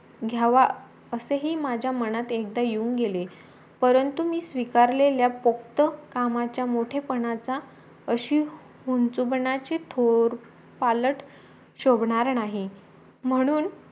घ्यावा असेही माझा मनात एकदा येऊन गेले परंतु मी स्वीकारलेल्या पोक्त कामाच्या मोठेपणचा अशी हुणचूपणाचे थोर पालत शोभणार नाही म्हणून